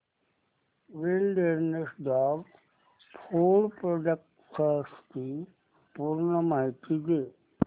wilderness dog food products ची पूर्ण माहिती दे